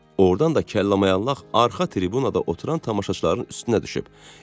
Ordan da kəlla-mayaq arxa tribunada oturan tamaşaçıların üstünə düşüb.